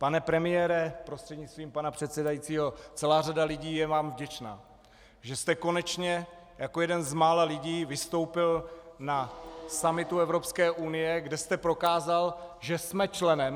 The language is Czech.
Pane premiére prostřednictvím pana předsedajícího, celá řada lidí je vám vděčná, že jste konečně jako jeden z mála lidí vystoupil na summitu Evropské unie, kde jste prokázal, že jsme členem.